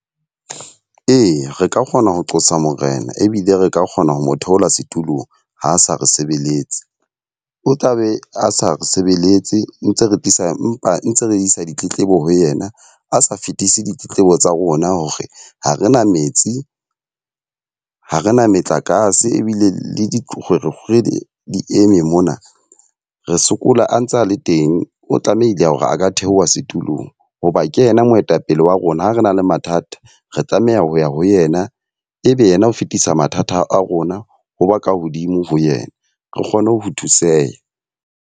Eya, re ka kgona ho qosa Morena, ebile re ka kgona ho mo theola setulong ha a sa re sebeletse. O tla be a sa re sebeletse ntse re tlisa mpa ntse re isa ditletlebo ho yena, a sa fetise ditletlebo tsa rona hore ha re na metsi. Ha rena metlakase ebile le dikgwerekgwere di eme mona, re sokola a ntse a le teng. O tlamehile ya hore a ka theoha setulong hoba a ke ena moetapele wa rona. Ha re na le mathata, re tlameha ho ya ho yena ebe yena ho fetisa mathata a rona ha ba ka hodimo ho yena. Re kgone ho thuseha.